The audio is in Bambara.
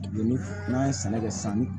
Ni n'an ye sɛnɛ kɛ san